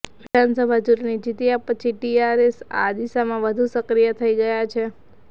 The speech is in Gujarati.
વિધાનસભા ચૂંટણી જીત્યા પછી ટીઆરએસ આ દિશામાં વધુ સક્રિય થઈ ગયા છે